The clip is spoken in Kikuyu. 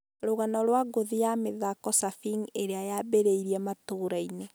Rũgano rwa ngũthi ya mĩthako ‘Surfing’ ĩrĩa yambĩrĩirie matũra-inĩ